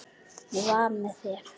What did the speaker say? hvíslar Hringur undir vængjuðu ávarpi.